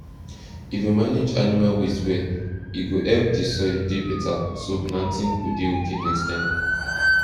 if you manage animal waste well e go help the soil dey beta so planting go dey okay next time